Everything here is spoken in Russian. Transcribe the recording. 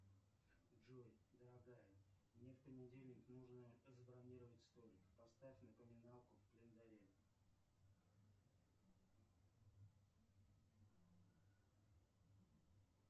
джой дорогая мне в понедельник нужно забронировать столик поставь напоминалку в календаре